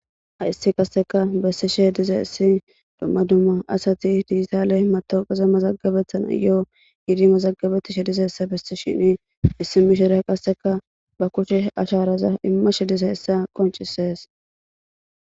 Hayssi qasseka bessishe diza issi dumma dumma asati diitaale matowqeza mazagabethana yoo gidi mazagabetishe dizassa bessi shini issi mishire qasseka ba kushe ashaaraza immashe diza issa qoncisees.